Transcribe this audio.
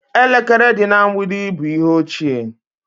Elekere dị na mgbidi bụ ihe ochie